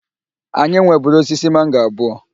Anyị nweburu osisi mango abụọ.